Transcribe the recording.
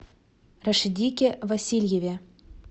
рашидике васильеве